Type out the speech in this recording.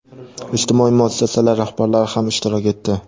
ijtimoiy muassasalar rahbarlari ham ishtirok etdi.